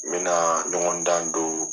N bɛna ɲɔgɔn dan don